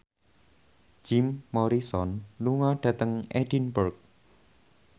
Jim Morrison lunga dhateng Edinburgh